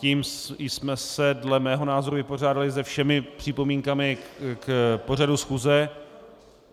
Tím jsme se dle mého názoru vypořádali se všemi připomínkami k pořadu schůze.